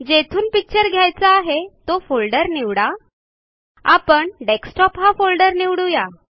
जेथून पिक्चर घ्यायचा आहे तो फोल्डर निवडा आपण डेस्कटॉप हा फोल्डर निवडू या